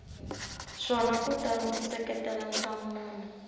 swona kutani u seketela nhlamulo